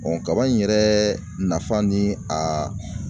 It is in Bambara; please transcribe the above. kaba in yɛrɛ nafa ni a